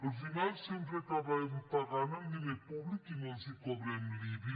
al final sempre acabem pagant amb diner públic i no els cobrem l’ibi